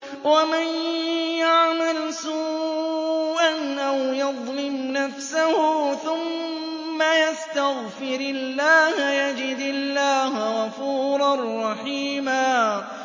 وَمَن يَعْمَلْ سُوءًا أَوْ يَظْلِمْ نَفْسَهُ ثُمَّ يَسْتَغْفِرِ اللَّهَ يَجِدِ اللَّهَ غَفُورًا رَّحِيمًا